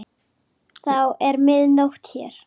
Þá er mið nótt hér.